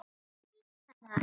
Við urðum að nýta það.